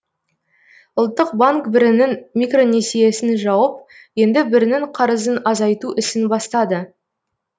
ұлттық банк бірінің микронесиесін жауып енді бірінің қарызын азайту ісін бастады